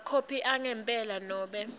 emakhophi angempela nobe